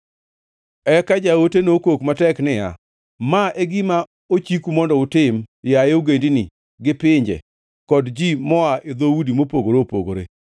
Eka jaote nokok matek niya, “Ma e gima ochiku mondo utim, yaye ogendini, gi pinje kod ji moa e dhoudi mopogore opogore.